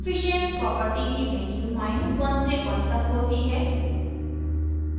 coefficient coefficient property की values100 से 100 तक होती है